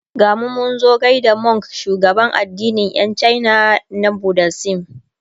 gamu Munzo gaida Monk shugaban addinin Yan china na budaism